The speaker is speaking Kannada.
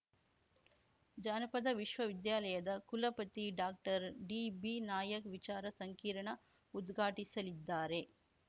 ಜಾನಪದ ವಿಶ್ವ ವಿದ್ಯಾಲಯದ ಕುಲಪತಿ ಡಾಕ್ಟರ್ ಡಿಬಿನಾಯಕ್ ವಿಚಾರ ಸಂಕಿರಣ ಉದ್ಘಾಟಿಸಲಿದ್ದಾರೆ